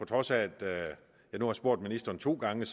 trods af at jeg nu har spurgt ministeren to gange